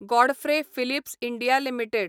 Godfrey Phillips India limited